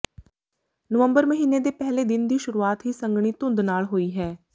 ਨਵੰਬਰ ਮਹੀਨੇ ਦੇ ਪਹਿਲੇ ਦਿਨ ਦੀ ਸ਼ੁਰੂਆਤ ਹੀ ਸੰਘਣੀ ਧੁੰਦ ਨਾਲ ਹੋਈ ਹੈ